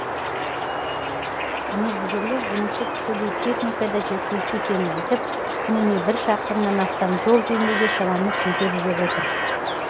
мердігерлер жұмысшы күші де техника да жеткілікті екенін айтып күніне бір шақырымнан астам жол жөндеуге шамамыз жетеді деп отыр